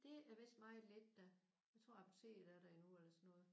Det er vist meget lidt da. Jeg tror apoteket er der endnu eller sådan noget